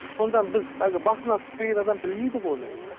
сонда біз әлгі басына түспеген адам білмейді ғой оны